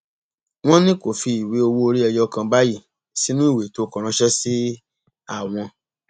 wọn ní kó fi ìwé owóorí ẹyọ kan báyìí sínú ìwé tó kọ ránṣẹ sí àwọn